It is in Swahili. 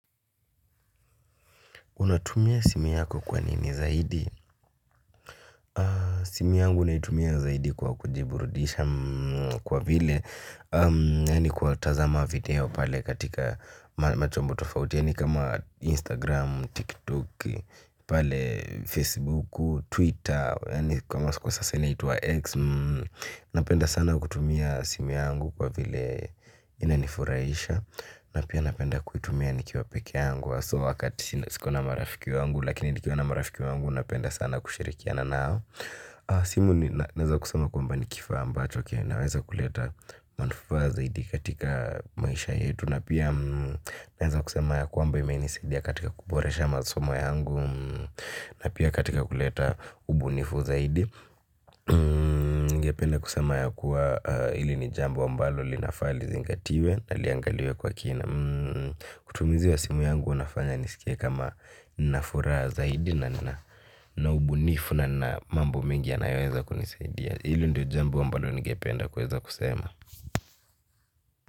Unatumia simu yako kwa nini zaidi? Simu yangu naitumia zaidi kwa kujiburudisha kwa vile, yaani kwa tazama video pale katika machombo tofauti, yani kama Instagram, TikTok, pale Facebook, Twitter, yaani kwa sasa inaitwa X, napenda sana kutumia simu yangu kwa vile inanifurahisha, na pia napenda kuitumia nikiwa pekee yangu haswa wakati siko na marafiki wangu. Lakini nikiwa na marafiki wangu napenda sana kushirikiana nao. Simu naweza kusema kwamba ni kifaa ambacho kinaweza kuleta manufaa zaidi katika maisha yetu. Na pia naweza kusema ya kwamba imenisidia katika kuboresha masomo yangu. Na pia katika kuleta ubunifu zaidi. Ningependa kusema ya kuwa ili ni jambo ambalo linafaa lizingatiwe. Na liangaliwe kwa kina utumizi wa simu yangu unafanya nisikie kama nina furaha zaidi na ubunifu na mambo mengi yanayoweza kunisaidia. Hilo ndiyo jambo ambalo ningependa kuweza kusema.